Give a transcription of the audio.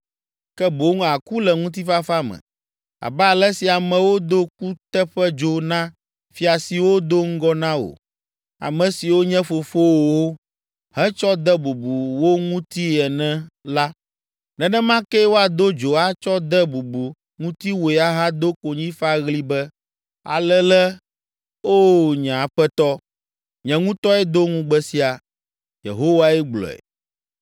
ke boŋ àku le ŋutifafa me. Abe ale si amewo do kuteƒedzo na fia siwo do ŋgɔ na wò, ame siwo nye fofowòwo, hetsɔ de bubu wo ŋutii ene la, nenema kee woado dzo atsɔ de bubu ŋutiwòe ahado konyifaɣli be, “Alele, O nye Aƒetɔ!” Nye ŋutɔe do ŋugbe sia, Yehowae gblɔe.’ ”